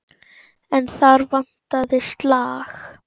En þar vantaði slag.